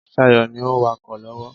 Sayo ni o ń wakọ̀ lọ́wọ́.